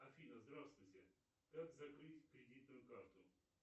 афина здравствуйте как закрыть кредитную карту